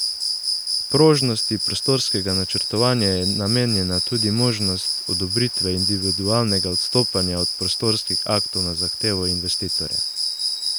Prožnosti prostorskega načrtovanja je namenjena tudi možnost odobritve individualnega odstopanja od prostorskih aktov na zahtevo investitorja.